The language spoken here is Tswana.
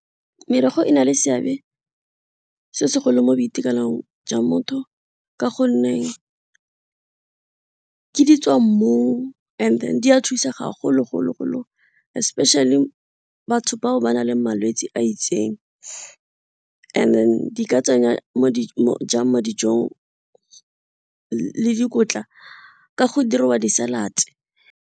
Merrogo e na le seabe se segolo mo boitekanelong jwa motho ka gonne, ke di tswa mmu and then di a thusa ga golo-golo especially batho bao ba na le malwetse a itseng and then di ka tsenya jang mo dijong le dikotla ka go diriwa di-salads.